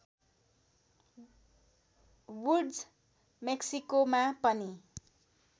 woods मेक्सिकोमा पनि